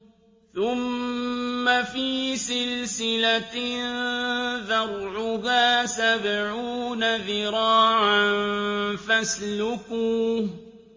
ثُمَّ فِي سِلْسِلَةٍ ذَرْعُهَا سَبْعُونَ ذِرَاعًا فَاسْلُكُوهُ